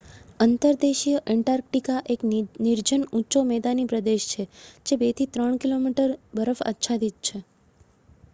અંતર્દેશીય Antarctica એક નિર્જન ઊંચો મેદાની પ્રદેશ છે જે 2-3 કિમી બરફ આચ્છાદિત છે